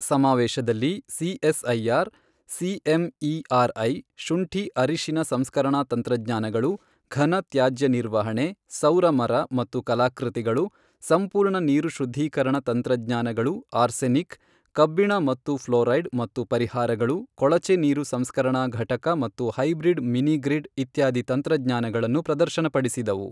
ಸಮಾವೇಶದಲ್ಲಿ CSIR CMERI ಶುಂಠಿ ಅರಿಶಿನ ಸಂಸ್ಕರಣಾ ತಂತ್ರಜ್ಞಾನಗಳು, ಘನ ತ್ಯಾಜ್ಯ ನಿರ್ವಹಣೆ, ಸೌರ ಮರ ಮತ್ತು ಕಲಾಕೃತಿಗಳು, ಸಂಪೂರ್ಣ ನೀರು ಶುದ್ಧೀಕರಣ ತಂತ್ರಜ್ಞಾನಗಳು ಆರ್ಸೆನಿಕ್, ಕಬ್ಬಿಣ ಮತ್ತು ಪ್ಲೋರೈಡ್ ಮತ್ತು ಪರಿಹಾರಗಳು, ಕೊಳಚೆ ನೀರು ಸಂಸ್ಕರಣಾ ಘಟಕ ಮತ್ತು ಹೈಬ್ರಿಡ್ ಮಿನಿ ಗ್ರಿಡ್ ಇತ್ಯಾದಿ ತಂತ್ರಜ್ಞಾನಗಳನ್ನು ಪ್ರದರ್ಶನಪಡಿಸಿದವು.